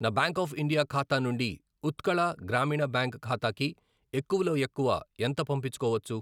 నా bank of India ఖాతా నుండి ఉత్కళ గ్రామీణ బ్యాంక్ ఖాతాకి ఎక్కువలో ఎక్కువ ఎంత పంపించుకోవచ్చు?